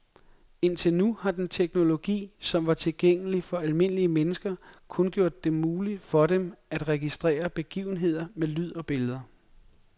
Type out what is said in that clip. Indtil nu har den teknologi, som var tilgængelig for almindelige mennesker, kun gjort det muligt for dem at registrere begivenheder med lyd og billede.